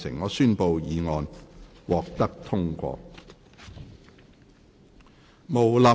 我宣布議案獲得通過。